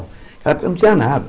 Na época eu não tinha nada.